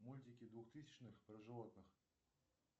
мультики двухтысячных про животных